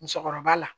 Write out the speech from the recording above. Musokɔrɔba la